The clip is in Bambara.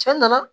Cɛ nana